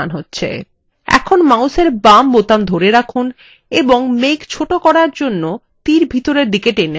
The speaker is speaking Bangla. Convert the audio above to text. এখন মাউসের বাম বোতাম ধরে রাখুন এবং মেঘ ছোট করার জন্য তীর ভিতরের দিকে টেনে আনুন